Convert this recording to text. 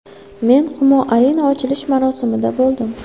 Men Humo Arena ochilish marosimida bo‘ldim.